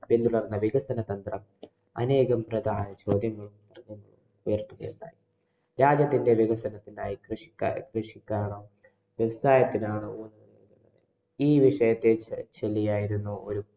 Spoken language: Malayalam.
വികസന തന്ത്രം അനേകം പ്രദമായ ചോദ്യങ്ങള്‍ ഉയര്‍ത്തുകയുണ്ടായി. രാജ്യത്തിന്‍റെ വികസനത്തിനായി കൃഷിക്കാര്‍ കൃഷിക്കാണോ, വ്യവസായത്തിനാണോ ഈ വിഷയത്തിനെ ചൊല്ലിയായിരുന്നു ഒരു